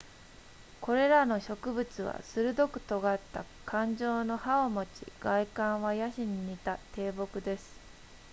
これらの植物は鋭く尖った冠状の葉を持ち外観はヤシに似た低木です